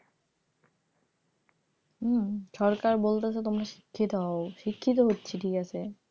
হম সরকার বলতেছে তোমরা শিক্ষিত হও শিক্ষিত হচ্ছি কিন্তু ঠিক আছে,